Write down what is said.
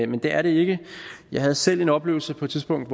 men det er det ikke jeg havde selv en oplevelse på et tidspunkt